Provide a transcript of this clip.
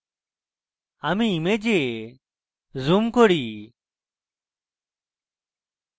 আমি image zoom করি